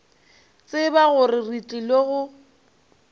tseba gore re tlile go